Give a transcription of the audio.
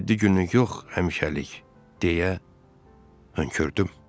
Yeddi günlük yox, həmişəlik, deyə hönkürdüm.